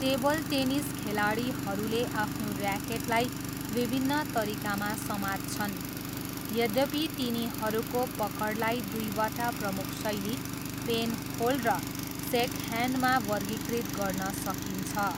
Table tennis खेलाडीहरूले आफ्नो ऱ्याकेटलाई विभिन्न तरिकामा समात्छन्, यद्यपि तिनीहरूको पकडलाई दुईवटा प्रमुख शैली, पेनहोल्ड र सेकह्यान्डमा वर्गीकृत गर्न सकिन्छ।